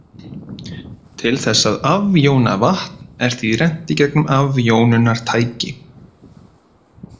Til þess að afjóna vatn er því rennt í gegnum afjónunartæki.